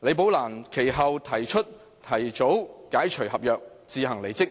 李寶蘭其後提出提早解除合約，自行離職。